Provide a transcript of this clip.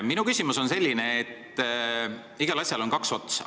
Minu küsimus lähtub sellest, et igal asjal on kaks otsa.